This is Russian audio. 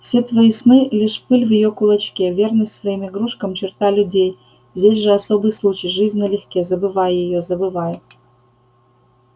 все твои сны лишь пыль в её кулачке верность своим игрушкам черта людей здесь же особый случай жизнь налегке забывай её забывай её